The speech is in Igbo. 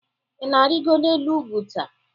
Ị na-arịgo n'elu ugwu taa?